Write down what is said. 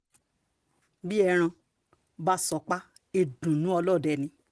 bí ẹran bá sọpá ìdùnnú ọlọ́dẹ ni